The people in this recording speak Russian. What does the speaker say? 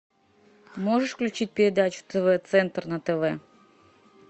можешь включить передачу тв центр на тв